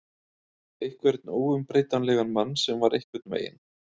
Einhvern óumbreytanlegan mann sem var einhvern veginn.